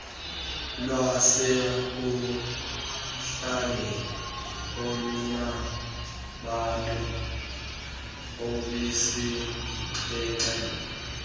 lwasekuhlaleni olunabantu absixhenxe